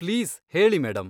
Please ಹೇಳಿ madam.